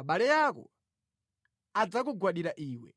abale ako adzakugwadira iwe.